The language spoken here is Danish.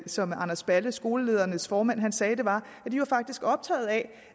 som anders balle skoleledernes formand sagde var at de faktisk var optaget af